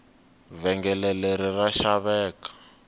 vhengele leri ra xaveka